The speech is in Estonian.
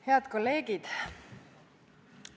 Head kolleegid!